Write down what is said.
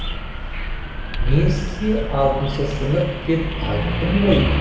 мен сізге алтыншы сынып деп айттым ғой